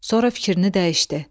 Sonra fikrini dəyişdi.